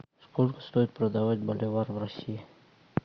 сколько стоит продавать боливар в россии